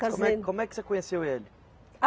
Casei. Como é, como é que você conheceu ele?